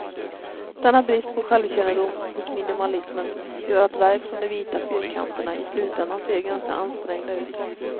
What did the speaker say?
Denna brist på självkännedom hos minimalismen gör att verk som de vita fyrkanterna i slutändan ser ganska ansträngda ut.